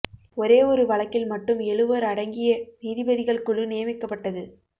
ஒரே ஒரு வழக்கில் மட்டும் எழுவர் அடங்கிய நீதிபதிகள் குழு நியமிக்கப்பட்டது